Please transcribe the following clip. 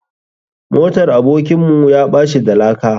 Motar abokin mu yaɓaci da laka.